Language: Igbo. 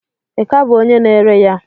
Ị ka bụ onye na-ere ya?